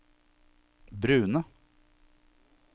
brune